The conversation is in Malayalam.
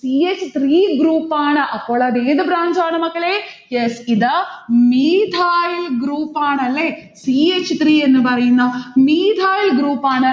c h three group ആണ്. അപ്പോളത് ഏത് branch ആണ് മക്കളെ? yes ഇത് methyl group ആണ് അല്ലെ. c h three എന്ന് പറയുന്ന methyl group ആണ്.